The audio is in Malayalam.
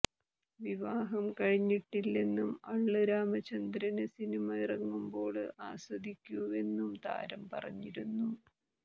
വിവാഹം കഴിഞ്ഞിട്ടില്ലെന്നും അള്ള് രാമചന്ദ്രന് സിനിമ ഇറങ്ങുമ്പോള് ആസ്വദിക്കൂവെന്നും താരം പറഞ്ഞിരുന്നു